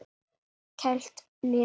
Kælt niður.